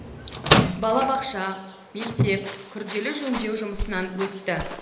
балабақша мектеп күрделі жөндеу жұмысынан өтті